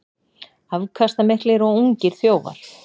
Afkastamiklir og ungir þjófar